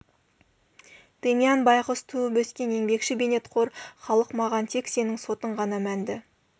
демьян байғұс туып-өскен еңбекші бейнетқор халық маған тек сенің сотың ғана мәнді